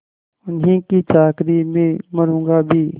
उन्हीं की चाकरी में मरुँगा भी